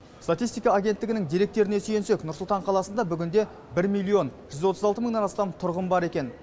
статистика агенттігінің деректеріне сүйенсек нұр сұлтан қаласында бүгінде бір миллион жүз отыз алты мыңнан астам тұрғын бар екен